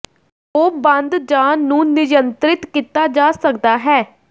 ਉਹ ਬੰਦ ਜ ਨੂੰ ਨਿਯੰਤ੍ਰਿਤ ਕੀਤਾ ਜਾ ਸਕਦਾ ਹੈ